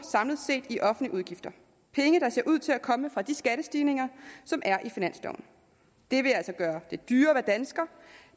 i offentlige udgifter penge der ser ud til at komme fra de skattestigninger som er i finansloven det vil altså gøre det dyrere at være dansker